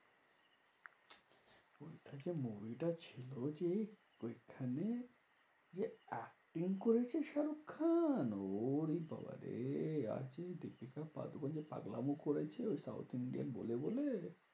ওই বইটা ছিল যে ঐখানে যে acting করেছে শাহরুখ খান ওরে বাবারে আর কি দীপিকা পাডুকোন পাগলামো করেছে। ওই south Indian বলে বলে।